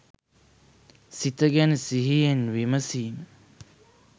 සිත ගැන සිහියෙන් විමසීම